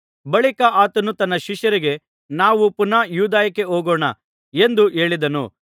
ಬಳಿಕ ಆತನು ತನ್ನ ಶಿಷ್ಯರಿಗೆ ನಾವು ಪುನಃ ಯೂದಾಯಕ್ಕೆ ಹೋಗೋಣ ಎಂದು ಹೇಳಿದನು